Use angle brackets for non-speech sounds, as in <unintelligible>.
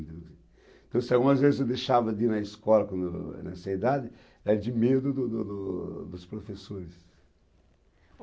<unintelligible> Então se algumas vezes eu deixava de ir na escola, com, nessa idade era de medo do do do dos professores.